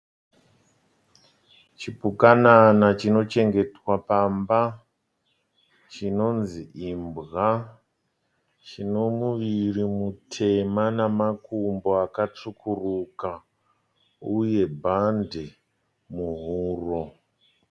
Chipukanana chinochengetwa pamba chinonzi imbwa. Chinomuviri mutema namakumbo akatsvukuruka uye bhande muhuro.